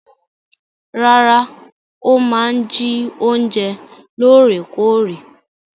Rárá, ó máa ń jí oúnjẹ lóòrèkóòrè.